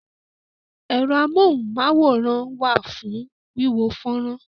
Ẹ̀rọ amóhùn-máwòrán wà fún wíwo fọ́nrán.